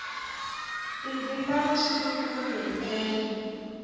tindzimana swi vumbiwile hi ndlela